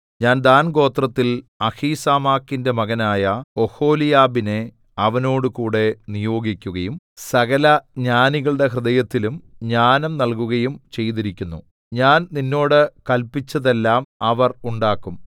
ഞാൻ ദാൻഗോത്രത്തിൽ അഹീസാമാക്കിന്റെ മകനായ ഒഹൊലിയാബിനെ അവനോടുകൂടെ നിയോഗിക്കുകയും സകല ജ്ഞാനികളുടെ ഹൃദയത്തിലും ജ്ഞാനം നല്കുകയും ചെയ്തിരിക്കുന്നു ഞാൻ നിന്നോട് കല്പിച്ചതെല്ലാം അവർ ഉണ്ടാക്കും